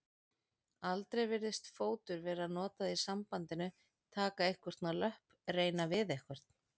Aldrei virðist fótur vera notað í sambandinu taka einhvern á löpp reyna við einhvern.